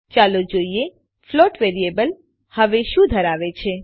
ચાલો જોઈએ float variable હવે શું ધરાવે છે